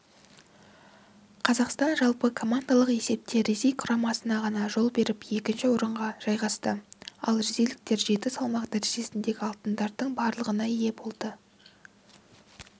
қазақстан жалпыкомандалық есепте ресей құрамасына ғана жол беріп екінші орынға жайғасты ал ресейліктер жеті салмақ дәрежесіндегі алтындардың барлығына ие болды